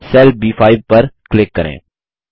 cell ब5 पर click करें